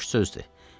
Boş sözdür.